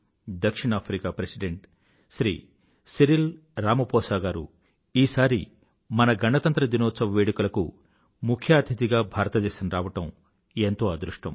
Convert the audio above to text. దక్షిణాఫ్రికా president Shri Cyril Ramaphosa గారు ఈసారి మన గణతంత్ర దినోత్సవ వేడుకలకు ముఖ్య అతిధిగా భారతదేశం రావడం ఎంతో అదృష్టం